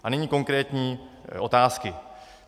A nyní konkrétní otázky.